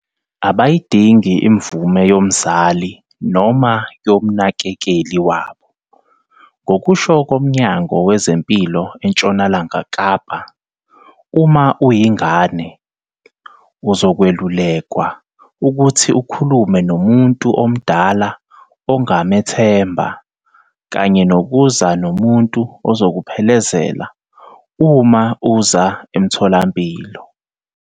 Abayidingi imvume yomzali noma yomnakekeli wabo. Ngokusho koMnyango Wezempilo eNtshonalanga Kapa, uma uyingane, uzokwelulekwa ukuthi ukhulume nomuntu omdala ongamethemba kanye nokuza nomuntu ozokuphelezela uma uze emtholampilo.